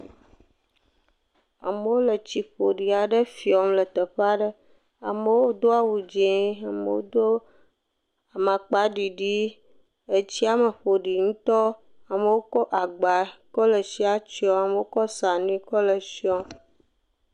Amewo le tsi ƒoɖi aɖe fiom le teƒe aɖe, amewo do awu dzɛ̃ amewo do amakpaɖiɖi, etsiame ƒoɖi ŋutɔ amewo kɔ agba kɔ le tsia tiɔm amewo kɔ sranui kɔ le etsiɔm.